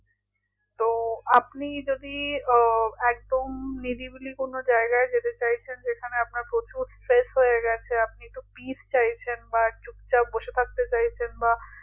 তো আপনি যদি আহ একদম কোনো নিরিবিলি কোনো জায়গায় যেতে চাইছেন যেখানে আপনার প্রচুর stress হয়ে গেছে আপনি একটু peace চাইছেন বা চুপচাপ বসে থাকতে চাইছেন বা